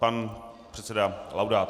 Pan předseda Laudát.